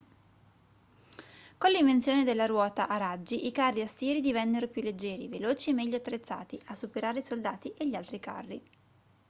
con l'invenzione della ruota a raggi i carri assiri divennero più leggeri veloci e meglio attrezzati a superare i soldati e gli altri carri